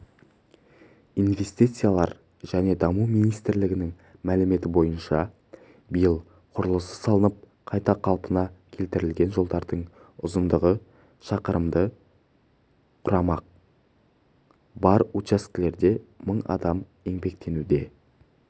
инвестициялар және даму министрлігінің мәліметі бойынша биыл құрылысы салынып қайта қалпына келтірілетін жолдардың ұзындығы шақырымды құрамақ бар учаскелерде мың адам еңбектенуде